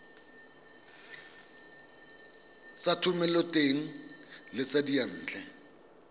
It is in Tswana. tsa thomeloteng le tsa diyantle